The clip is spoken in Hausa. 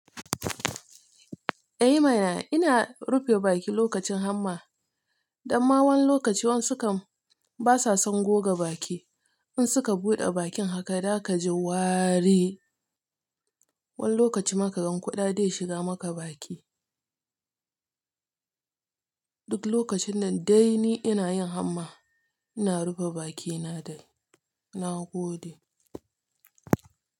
Eh ma na, ina rufe baki lokacin hamma. Dan ma wani lokaci wan sukam basa son goga baki. In suka buɗe bakin haka, daka ji wari. Wani lokaci ma kagan kuɗa dai shiga maka baki. Duk lokacin nan dai ni ina yin hamma. Ina rufe bakina dai. Na gode.